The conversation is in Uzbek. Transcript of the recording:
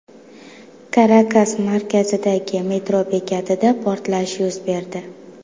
Karakas markazidagi metro bekatida portlash yuz berdi.